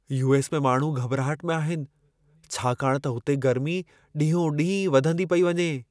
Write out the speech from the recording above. US. में माण्हू घॿिराहट में आहिनि, छाकाणि त हुते गर्मी ॾींहो ॾींहुं वधंदी पेई वञे।